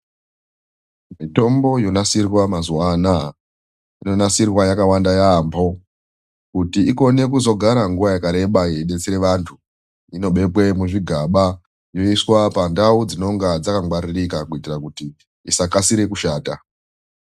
Mitombo yonasirwa mazuwa anaya, inonasirwa yakawanda yaamho kuti ikone kuzogara nguwa yakareba yeidetsera vantu, inobekwe muzvigaba yoiswa pandau dzinonga dzakangwaririka kuitira kuti dzisakasire kushata.